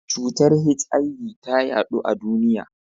Cutar HIV ta yaɗu a duniya.